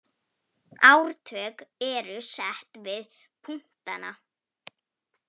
Ártöl eru sett við punktana.